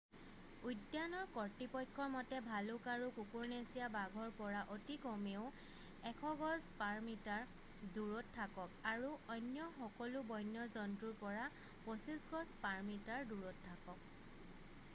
উদ্যানৰ কৰ্তৃপক্ষৰ মতে ভালুক আৰু কুকুৰনেচীয়া বাঘৰ পৰা অতি কমেও 100 গজ/মিটাৰ দূৰত থাকক আৰু অন্য সকলো বন্য জন্তুৰ পৰা 25 গজ/মিটাৰ দূৰত থাকক!